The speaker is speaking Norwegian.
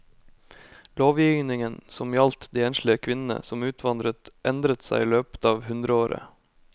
Lovgivningen som gjaldt de enslige kvinnene som utvandret endret seg i løpet av hundreåret.